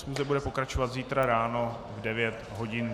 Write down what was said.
Schůze bude pokračovat zítra ráno v 9 hodin.